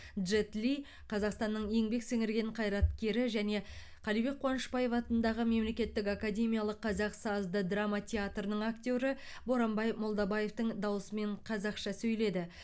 джет ли қазақстанның еңбек сіңірген қайраткері және қалыбек қуанышбаев атындағы мемлекеттік академиялық қазақ сазды драма театрының актері боранбай молдабаевтың дауысымен қазақша сөйледі